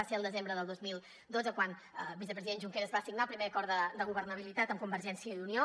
va ser el desembre del dos mil dotze quan el vicepresident junqueras va signar el primer acord de governabilitat amb convergència i unió